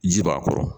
Ji b'a kɔrɔ